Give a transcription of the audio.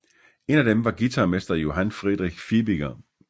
En af dem var guitarmester Johan Friedrich Fibiger